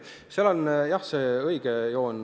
Seal on, jah, see õige joon.